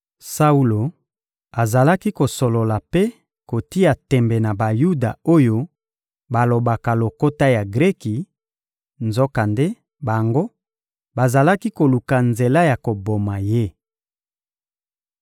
Saulo azalaki kosolola mpe kotia tembe na Bayuda oyo balobaka lokota ya Greki; nzokande, bango, bazalaki koluka nzela ya koboma ye.